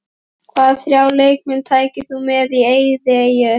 Hvaða þrjá leikmenn tækir þú með á eyðieyju?